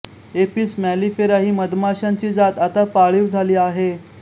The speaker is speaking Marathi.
एपिस मॅलिफेरा ही मधमाश्यांची जात आता पाळीव झाली आहे